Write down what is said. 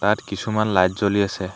ইয়াত কিছুমান লাইট জ্বলি আছে।